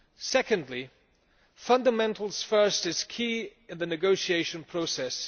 Secondly, fundamentals first' is key in the negotiation process.